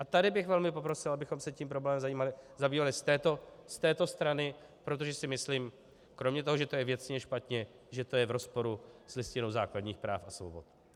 A tady bych velmi poprosil, abychom se tím problémem zabývali z této strany, protože si myslím, kromě toho, že to je věcně špatně, že to je v rozporu s Listinou základních práv a svobod.